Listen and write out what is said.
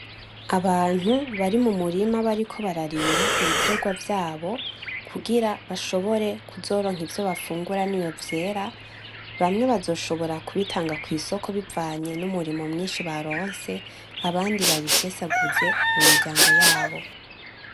Abantu bari mu murima bariko bararima ibitegwa vyabo kugira bashobore kuzoronka ivyo bafungura n’iyo vyera, bamwe bazoshobora kubitanga kwisoko bivanye n’umurimo mwinshi baronse abandi babisesaguze mu muryango yabo.